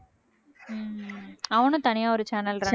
அவனும் தனியா ஒரு channel run